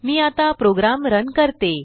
मी आता program run करते